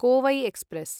Kovai express